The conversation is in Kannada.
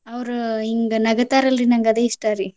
ಅವ್ರ್ ಹಿಂಗ್ ನಗತಾರಲ್ರಿ ನಂಗ್ ಆದ ಇಷ್ಟಾರಿ.